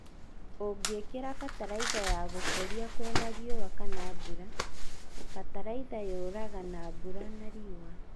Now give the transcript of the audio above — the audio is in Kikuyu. Ũngĩkira bataraitha ya gũkũria kwĩna riũa kana mbura, bataraitha nyũraga na mbura na riũa.